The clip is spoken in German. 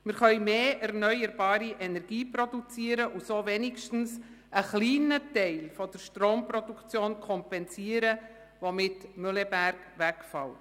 Wir können mehr erneuerbare Energie produzieren und so wenigstens einen kleinen Teil der Stromproduktion kompensieren, die mit Mühleberg wegfällt.